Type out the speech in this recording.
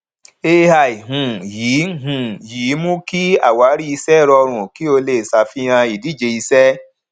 ai um yìí um yìí mú kí àwárí iṣẹ rọrùn kí o lè ṣàfihàn ìdíje iṣẹ